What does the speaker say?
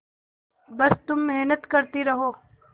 बस तुम मेहनत करती रहो